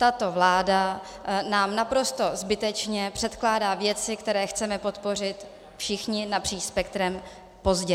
Tato vláda nám naprosto zbytečně předkládá věci, které chceme podpořit všichni napříč spektrem, pozdě.